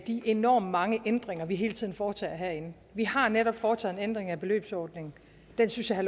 de enormt mange ændringer vi hele tiden foretager herinde vi har netop foretaget en ændring af beløbsordningen den synes jeg